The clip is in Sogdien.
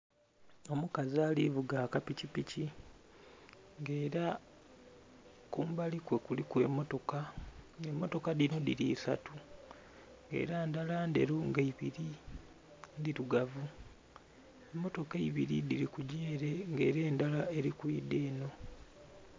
Omukazi ali kuvuga aka pikipiki nga era kumbali kwe kuliku emotoka nga emotoka dhino dhili isatu era endhala ndheru nga eibiri ndhirugavu. Emotoka eibiri dhili kugya ele nga era endala eri kwidha enho.